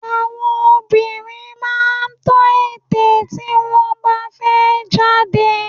Àwọn obìnrin máa ń tọ́ ète tí wọ́n bá fẹ́ jáde